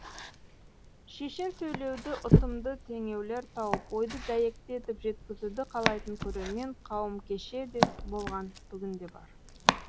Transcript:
шешен сөйлеуді ұтымды теңеулер тауып ойды дәйекті етіп жеткізуді қалайтын көрермен қауым кеше де болған бүгін де бар